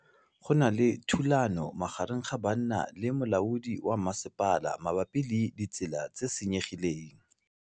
Go na le thulanô magareng ga banna le molaodi wa masepala mabapi le ditsela tse di senyegileng.